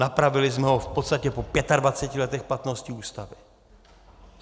Napravili jsme ho v podstatě po 25 letech platnosti Ústavy.